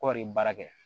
Kɔri baara kɛ